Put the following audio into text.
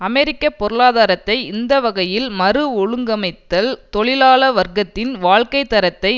அமெரிக்க பொருளாதாரத்தை இந்த வகையில் மறுஒழுங்கமைத்தல் தொழிலாள வர்க்கத்தின் வாழ்க்கை தரத்தை